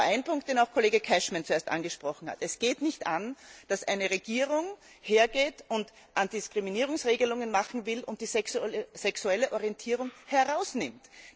Aber zu einem Punkt, den auch Kollege Cashman zuerst angesprochen hat Es geht nicht an, dass eine Regierung hergeht und Antidiskriminierungsregelungen machen will und die sexuelle Orientierung herausnimmt.